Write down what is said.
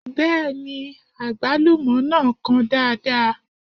Bẹ́ẹ̀ni, àgbálúmọ náà kan dáadáa